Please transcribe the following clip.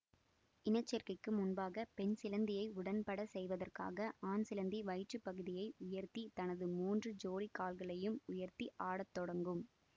இன சேர்க்கைக்கு முன்பாக பெண் சிலந்தியை உடன்படச் செய்வதற்காக ஆண் சிலந்தி வயிற்று பகுதியை உயர்த்தி தனது மூன்று ஜோடிக் கால்களையும் உயர்த்தி ஆட தொடங்கும்